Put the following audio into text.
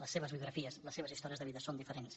les seves biografies les seves històries de vida són diferents